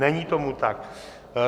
Není tomu tak.